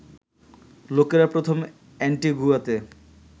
লোকেরা প্রথম অ্যান্টিগুয়াতে